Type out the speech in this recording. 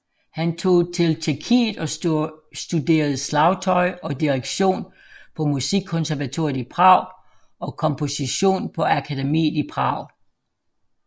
Han tog til Tjekkiet og studerede slagtøj og direktion på Musikkonservatoriet i Prag og komposition på Akademiet i Prag